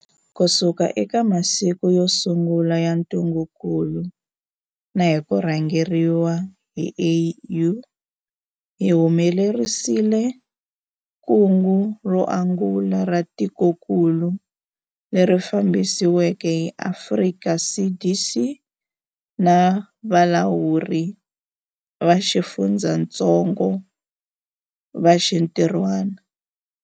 Kusuka eka masiku yo sungula ya ntungukulu na hi ku rhangeriwa hi AU, hi humelerisile kungu ro angula ra tikokulu, leri fambisiweke hi Afrika CDC na valawuri va xifundzatsongo va xintirhwana.